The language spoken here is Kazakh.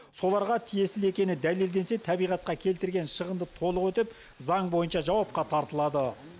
соларға тиесілі екені дәлелденсе табиғатқа келтірген шығынды толық өтеп заң бойынша жауапқа тартылады